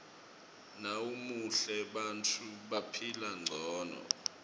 nawumuhle bantfu baphila ngcono